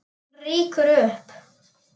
Hún rýkur upp.